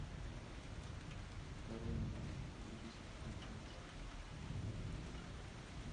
король лев две тысячи девятнадцать